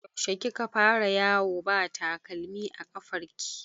Yaushe kika fara yawo ba takalmi a ƙafar ki?